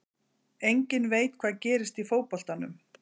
Enginn veit hvað gerist í fótboltanum.